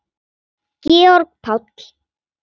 Georg Páll.